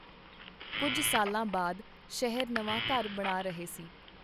ਕੁੱਝ ਸਾਲਾਂ ਬਾਅਦ ਸ਼ਹਿਰ ਨਵਾਂ ਘਰ ਬਣਾ ਰਹੇ ਸੀ .